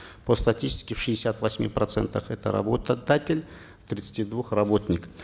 по статистике в шестидесяти восьми процентах это работодатель в тридцати двух работник